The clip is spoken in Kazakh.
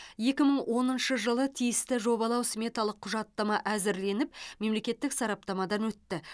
екі мың оныншы жылы тиісті жобалау сметалық құжаттама әзірленіп мемлекеттік сараптамадан өтті